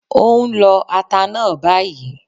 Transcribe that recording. Ó ń lọ ata náà bayìí